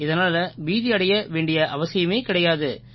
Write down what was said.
இதனால பீதியடைய வேண்டிய அவசியமே கிடையாது